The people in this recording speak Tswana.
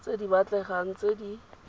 tse di batlegang tse di